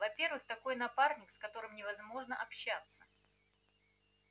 во-первых такой напарник с которым невозможно общаться